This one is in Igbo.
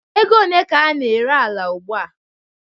Ego one ka a na-ere ala ugbua?